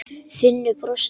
Finnur brosti.